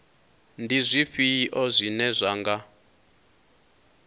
ndi zwifhio zwine zwa nga